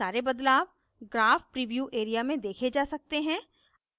सारे बदलाव graph preview area में देखे जा सकते हैं